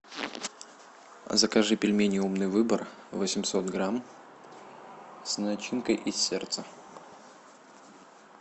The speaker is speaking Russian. закажи пельмени умный выбор восемьсот грамм с начинкой из сердца